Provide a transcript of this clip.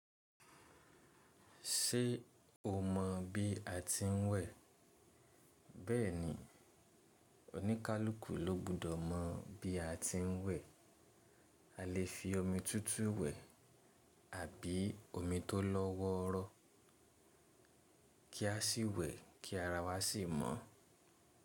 Ṣé o mọ̀ bí a ti ń wẹ̀? Bẹ́ẹ̀ni, oníkálukú ló gbọdọ̀ mọ̀ bí a ti ń wẹ̀. A lè fi omi tútù wẹ̀ àbí omi tó lọ́wọ́rọ́ kí a sì wẹ̀ kí ara wa sì mọ́.